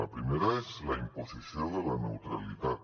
la primera és la imposició de la neutralitat